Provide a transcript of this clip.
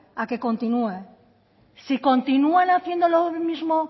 a que continúe si continúan haciendo lo mismo